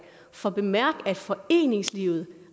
for bemærk at foreningslivet